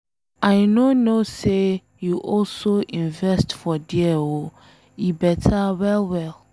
I no know say you also invest for there oo, e beta well well.